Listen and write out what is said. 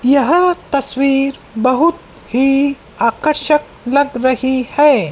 यह तस्वीर बहुत ही आकर्षक लग रही है।